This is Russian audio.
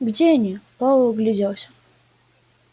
где они пауэлл огляделся